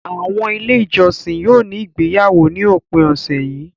Àwọn Ilé-ìjọsìn yóò ní ìgbéyàwó ní òpin ọ̀sẹ̀ yìí.